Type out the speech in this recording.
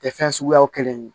Tɛ fɛn suguyaw kelen ye